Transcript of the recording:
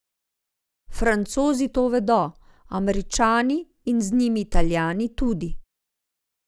Francozi to vedo, Američani in z njimi Italijani tudi.